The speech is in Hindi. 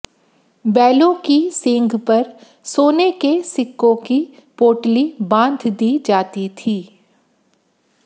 बैलों की सींग पर सोने के सिक्कों की पोटली बांध दी जाती थी